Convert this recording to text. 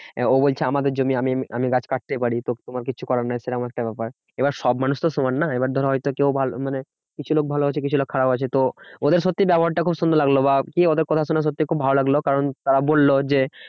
ও বলছে আমাদের জমি আমি আমি গাছ কাটতেই পারি তো তোমার কিচ্ছু করার নেই, সেরম একটা ব্যাপার। এবার সব মানুষতো সমান নয় এবার ধরো হয়তো কেউ ভালো মানে কিছু লোক ভালো আছে, কিছু লোক খারাপ আছে। তো ওদের সত্যি ব্যবহারটা খুব সুন্দর লাগলো। বা কি ওদের কথা শুনে সত্যি খুব ভালো লাগলো। কারণ তারা বললো যে,